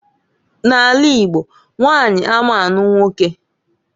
N'ala Igbo nwanyi ama anụ unwoke.